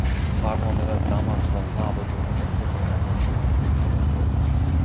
Farg‘onada Damas va Labo to‘qnashuvida bir haydovchi halok bo‘ldi.